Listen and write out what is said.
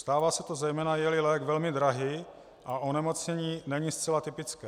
Stává se to zejména, je-li lék velmi drahý a onemocnění není zcela typické.